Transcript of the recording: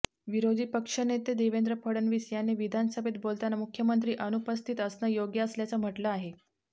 विरोधी पक्षनेते देवेंद्र फडणवीस यांनी विधानसभेत बोलताना मुख्यमंत्री अनुपस्थित असणंं योग्य असल्याचं म्हटलं आहे